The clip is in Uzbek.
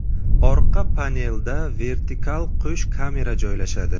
Orqa panelda vertikal qo‘sh kamera joylashadi.